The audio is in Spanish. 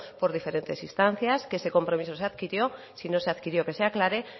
por diferentes instancias que ese compromiso se adquirió si no se adquirió que se aclare